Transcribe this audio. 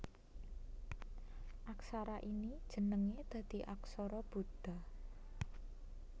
Aksara ini jenengé dadi aksara Buda